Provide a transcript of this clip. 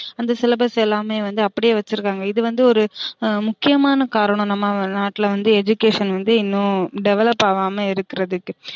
அந்த syllabus எல்லாமே வந்து அப்டியே வச்சிருக்காங்க இது வந்து ஒரு முக்கியமான காரணம் நம்ம நாட்ல வந்து education வந்து இன்னும் develop ஆகாம இருக்குறதுக்கு